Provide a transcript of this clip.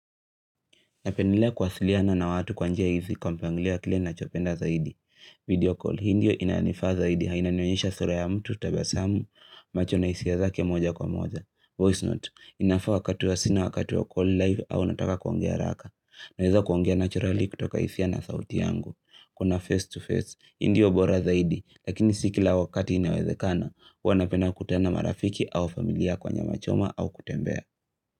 Napendelea kuwasliana na watu kwa njia hizi kwa mpangilio wa kile nachopenda zaidi. Video call, hii ndiyo inanifaa zaidi inanionyesha sura ya mtu tabasamu, macho na hisia zake moja kwa moja. Voice note, inafaa wakati wa sina wakati ya call live au nataka kuongea haraka. Naeza kuongea naturally kutoka hisia na sauti yangu. Kuna face to face, hii ndiyo bora zaidi, lakini si kila wakati inawezekana, huwa napenda kukutana na marafiki au familia kwa nyamachoma au kutembea.